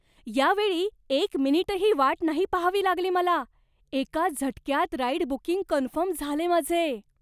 यावेळी एक मिनिटही वाट नाही पहावी लागली मला. एका झटक्यात राईड बुकिंग कन्फर्म झाले माझे!